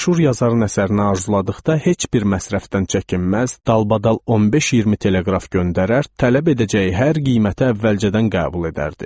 Məşhur yazarın əsərinə arzuladıqda heç bir məsrəfdən çəkinməz, dalbadal 15-20 teleqraf göndərər, tələb edəcəyi hər qiyməti əvvəlcədən qəbul edərdi.